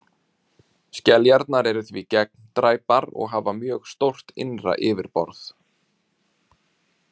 Skeljarnar eru því gegndræpar og hafa mjög stórt innra yfirborð.